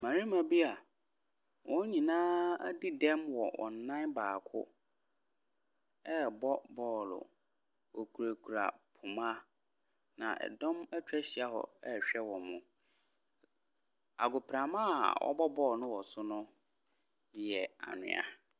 Mmarima bi a wɔn nyinaa adi dɛm wɔ wɔn nan baako ɛrebɔ bɔɔlo. Wɔkurakura poma, na dɔm atwa ahyia hɔ ɛrehwɛ wɔn. Agoprama a wɔrebɔ bɔɔlo no wɔ so no yɛ anwea.